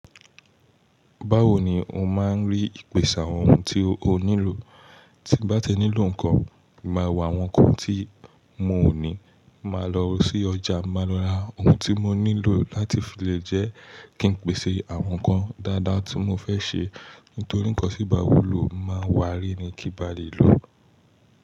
Báwo ni o máa ń rí ìpèsè ohun tí o nílò? Tí n bá ti nílò nǹkan, máa wo awon ohun kan tí n ò ní, màá lọ sí ọjà, màá lọ ra ohun tí mo nílò láti fi lè jẹ́ kí n pèsè àwọn nǹkan dáadáa tí mo fẹ́ ṣe. Nítorí nǹkan tí nbà wùló n máa wà rí ní kí n bà lè lò.